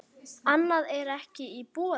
Annað er ekki í boði.